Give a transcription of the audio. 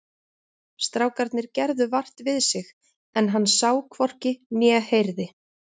Strákarnir gerðu vart við sig en hann sá hvorki né heyrði.